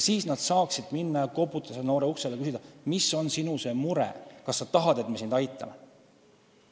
Siis saaks minna ja koputada noore uksele ning küsida, mis on sinu mure ja kas sa tahad, et me sind aitame.